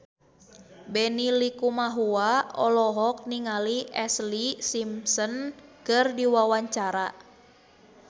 Benny Likumahua olohok ningali Ashlee Simpson keur diwawancara